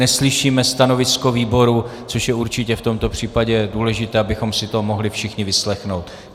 Neslyšíme stanovisko výboru, což je určitě v tomto případě důležité, abychom si to mohli všichni vyslechnout.